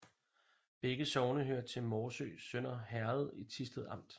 Begge sogne hørte til Morsø Sønder Herred i Thisted Amt